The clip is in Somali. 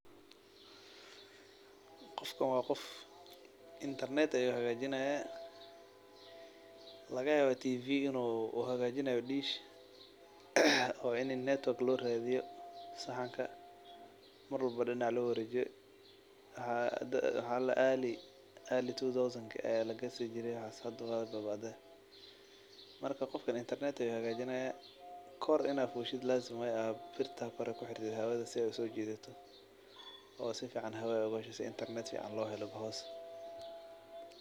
Qofkan waa qof qad hagaajinaayo laga yaaba in saxanka tiviga lahaagajinaayo marki hore aayasa kakasi jire kor inaad korto qasab waye si qad fican hoos looga helo.